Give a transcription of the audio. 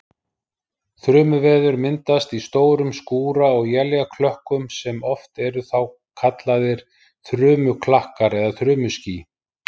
Þrumuveður myndast í stórum skúra- eða éljaklökkum sem oft eru þá kallaðir þrumuklakkar eða þrumuský.